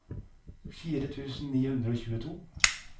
fire tusen ni hundre og tjueto